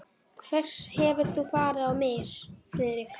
Hvers hefur þú farið á mis, Friðrik?